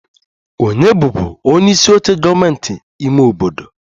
Ònye bụbu onyeisi oche gọọmentị ime obodo?